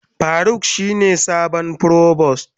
Faruk shine sabon provost.